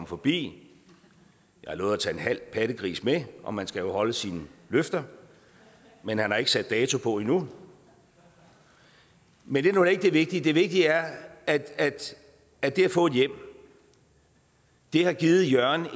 forbi jeg har lovet at tage en halv pattegris med og man skal jo holde sine løfter men han har ikke sat dato på endnu men det er nu ikke det vigtige det vigtige er at det at få et hjem har givet jørgen